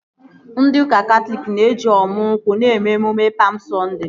Ndị ụka Katọlik na-eji ọmu nkwụ eme emume Pam Sọnde